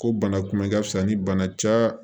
Ko bana kunbɛ ka fisa ni bana ca